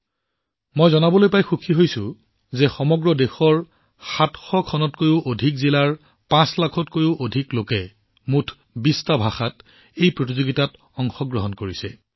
মই আপোনালোকক জনাবলৈ পাই আনন্দিত যে সমগ্ৰ দেশৰ ৭০০ খনতকৈও অধিক জিলাৰ ৫ লাখতকৈও অধিক লোকে এই ক্ষেত্ৰত উৎসাহেৰে অংশগ্ৰহণ কৰিছে